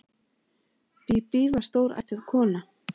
Bíbí var stórættuð kona.